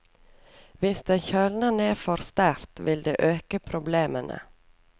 Hvis den kjøler ned for sterkt, vil det øke problemene.